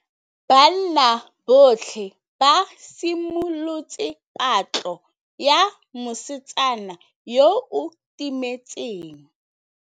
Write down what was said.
Banna botlhê ba simolotse patlô ya mosetsana yo o timetseng.